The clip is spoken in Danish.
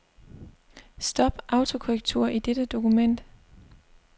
Stop autokorrektur i dette dokument.